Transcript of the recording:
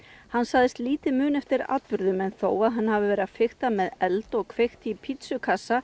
hann sagðist lítið muna eftir atburðum en þó að hann hafi verið að fikta með eld og kveikt í